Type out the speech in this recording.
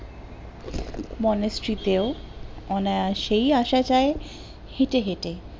মনোস্রিতে ও অনায়াসেই আসা যায় হেটে হেটে